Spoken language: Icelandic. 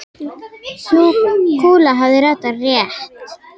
Sú kúla hafði ratað rétt.